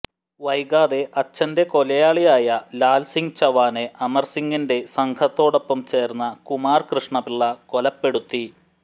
വൈകാതെ അച്ഛന്റെ കൊലയാളിയായ ലാൽ സിങ് ചവാനെ അമർ സിംഗിന്റെ സംഘത്തോടൊപ്പം ചേർന്ന കുമാർ കൃഷ്ണപിള്ള കൊലപ്പെടുത്തി